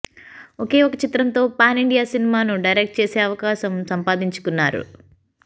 ఒకే ఒక్క చిత్రం తో పాన్ ఇండియన్ సినిమా ను డైరెక్ట్ చేసే అవకాశం సంపాదించుకున్నారు